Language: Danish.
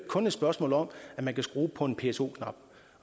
kun et spørgsmål om at man kan skrue på en pso knap